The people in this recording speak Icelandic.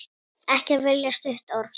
Ekki velja stutt orð.